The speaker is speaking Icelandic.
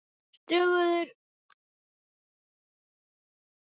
Stöðugur sársauki, stöðug höfnun, stöðug vanmetakennd.